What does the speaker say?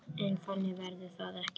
En þannig verður það ekki.